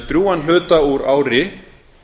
drjúgan hluta úr ári